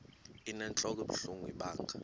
inentlok ebuhlungu ibanga